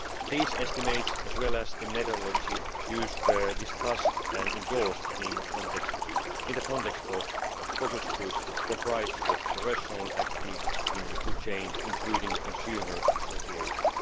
These estimates, as well as the methodology used, were discussed and endorsed in the context of a focus group comprised of professionals active in the food chain, including consumer associations.